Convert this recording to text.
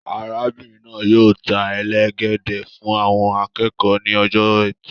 Arábìnrin náà yóò ta elegede fún àwọn akẹ́kọ̀ọ́ ní ọjọ ẹtì.